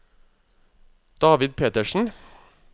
David Petersen